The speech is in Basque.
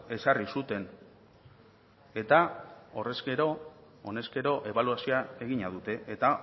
ezarri zuten eta honezkero ebaluazioa egina dute eta